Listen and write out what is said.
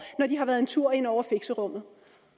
når de har været en tur inde over fixerummet